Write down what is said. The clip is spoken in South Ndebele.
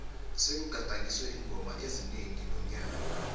sekugadangiswe iingoma ezinengi nonyaka